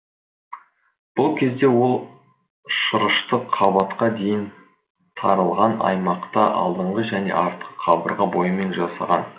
бұл кезде ол шырышты қабатқа дейін тарылған аймақта алдыңғы және артқы қабырға бойымен жасаған